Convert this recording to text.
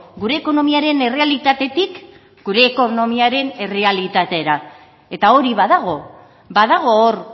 gure ekonomiaren errealitatetik gure ekonomiaren errealitatera eta hori badago badago hor